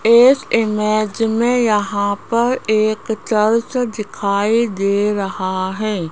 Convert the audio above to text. इस इमेज में यहां पर एक चर्च दिखाई दे रहा है।